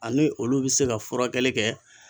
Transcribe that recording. Ani olu bi se ka furakɛli kɛ